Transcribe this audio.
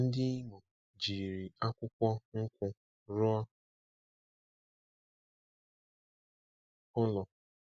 Ndi Imo jiri akwukwo nkwu rụọ ụlọ